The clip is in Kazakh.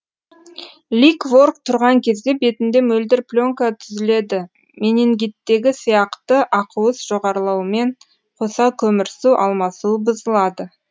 ликворк тұрған кезде бетінде мөлдір пленка түзіледі менингиттегі сияқты ақуыз жоғарлауымен қоса көмірсу алмасуы бұзылады